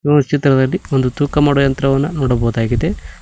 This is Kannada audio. ಈ ಚಿತ್ರದಲ್ಲಿ ಒಂದು ತೂಕ ಮಾಡುವ ಯಂತ್ರವನ್ನ ನೋಡಬಹುದಾಗಿದೆ.